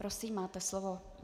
Prosím, máte slovo.